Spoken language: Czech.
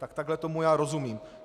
Tak takhle tomu já rozumím.